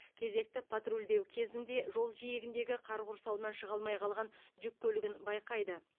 кезекті патрульдеу кезінде жол жиегіндегі қар құрсауынан шыға алмай қалған жүк көлігін байқайды